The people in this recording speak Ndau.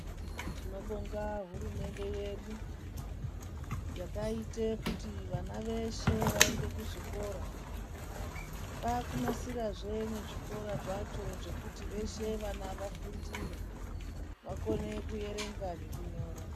Tinobonga hurumende yedu, yakaite kuti vana veshe vaende kuzvikora. Vakunasira zve muzvikora zvacho zvekuti veshe vana vafundire, vakone kuyerenga ngekunyora.